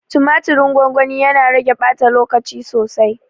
Tumatirin gwangwani, yana rage ɓata lokaci sosai.